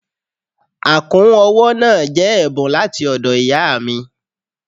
Àkún ọwọ́ náà jẹ́ ẹ̀bùn láti ọ̀dọ̀ ìyáà mi.